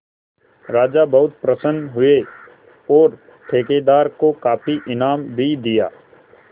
राजा बहुत प्रसन्न हुए और ठेकेदार को काफी इनाम भी दिया